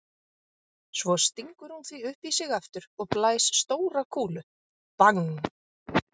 Svo stingur hún því upp í sig aftur og blæs stóra kúlu,- bang!